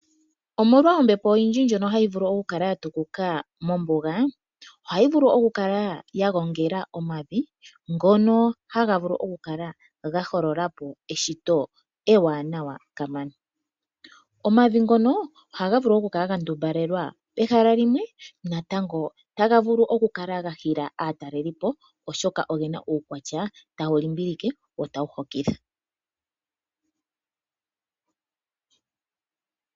Omolwa ombepo oyindji ndjono hayi vulu okukala yatukuka mombuga, ohayi vulu okukala yagongela omavi ngono haga vulu okukala gahololapo eshito ewaanawa kamana . Omavi ngono oha ga vulu okukala gandumbalela pehala limwe, natango taga vulu okukala gahila aatalelipo oshoka ogena uukwatya tawu limbilike wo tawu hokitha.